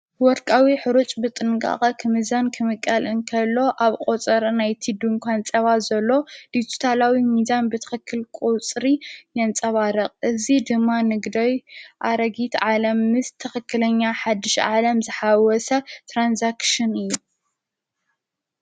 ወርቃዊ ኅሩጭ ብጥንቃቓ ኽምዛን ክምቃል እንከሎ ኣብ ቖፀር ናይቲ ዱ ንኳን ጸባ ዘሎ ዲቱታላዊ ሚዛን ብትኸክል ቁጽሪ ያንጸባረቕ እዙ ድማ ንግደይ ኣረጊት ዓለም ምስ ተኽክለኛ ሓድሽ ዓለም ዝሓወሰተራንሳክስን እዩ።